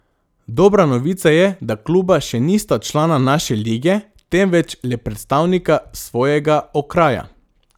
Dobra novica je, da kluba še nista člana naše lige, temveč le predstavnika svojega okraja.